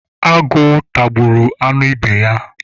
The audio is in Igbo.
Agụ tagburu anụ ibe ya.